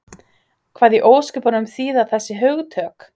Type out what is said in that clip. Hvað í ósköpunum þýða þessi hugtök?